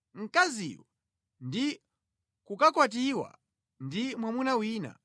mkaziyo ndi kukakwatiwa ndi mwamuna wina,